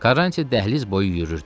Karrantiya dəhliz boyu yürüyürdü.